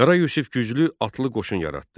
Qara Yusif güclü atlı qoşun yaratdı.